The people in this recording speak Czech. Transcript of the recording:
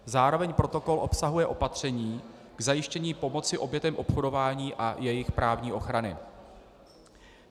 Zároveň protokol obsahuje opatření k zajištění pomoci obětem obchodování a jejich právní ochrany.